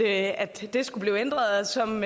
at det skulle blive ændret som